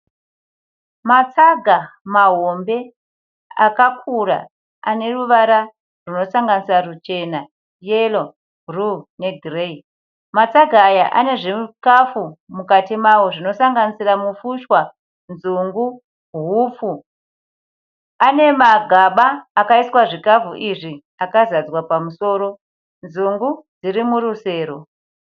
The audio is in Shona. Matsaga mahombe akakura ane ruvara rwunosanganisira ruchena, yero, bhuruu negireyi. Matsaga aya ane zvikafu mukati mawo zvinosanganisira mufushwa, nzungu, hupfupi. Ane magaba akaiswa zvikafu izvi akazadzwa pamusoro, nzungu dziri murusero.